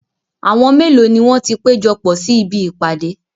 Àwọn mélòó ni wọ́n ti péjọpọ̀ sí ibi ìpàdé?